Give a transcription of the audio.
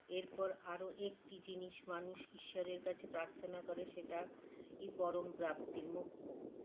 এরপর আরও একটি জিনিস মানুষ ঈশ্বরের কাছে প্রার্থনা করে সেটা এই পরম প্রাপ্তি মোক্ষ